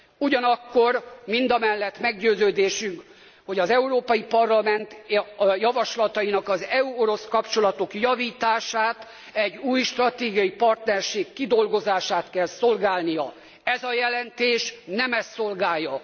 Ugyanakkor mindamellett meggyőződésünk, hogy az Európai Parlament javaslatainak az EU orosz kapcsolatok javítását, egy új stratégiai partnerség kidolgozását kell szolgálnia. Ez a jelentés nem ezt szolgálja.